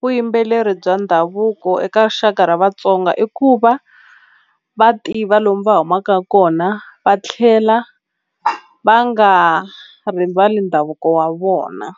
vuyimbeleri bya ndhavuko eka rixaka ra Vatsonga i ku va va tiva lomu va humaka kona va tlhela va nga rivali ndhavuko wa vona.